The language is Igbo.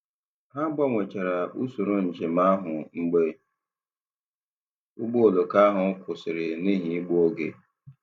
Ha gbanwechara usoro njem ahụ mgbe ụgbọ oloko ha kwụsịrị n'ihi igbu oge.